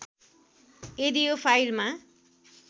यदि यो फाइलमा